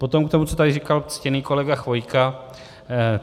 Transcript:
Potom k tomu, co tady říkal ctěný kolega Chvojka.